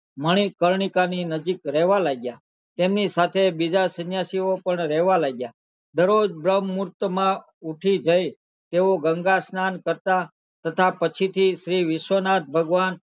મણિકર્ણિકા ની નજીક રહેવા લાગ્યા તેમની સાથે બીજા સન્યાસી પણ રહેવા લાગ્યા દરોજ બ્રહમઉંટ માં ઉઠી જઈ તેઓ ગંગા સ્નાન કરતા તથા પછી થી શ્રી વિશ્વનાથ ભગવાન